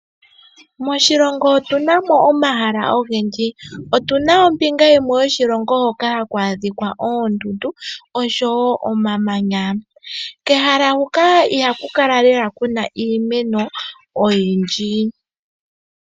Moshilongo otuna mo omahala ogendji. Otuna ombinga yimwe yoshilongo hoka haku adhika oondundu oshowo omamanya. Kehala huka ihaku kala kuna lela iimeno oyindji.